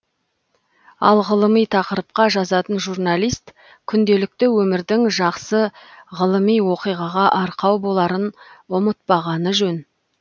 ал ғылыми тақырыпқа жазатын журналист күнделікті өмірдің жақсы ғылыми оқиғаға арқау боларын ұмытпағаны жөн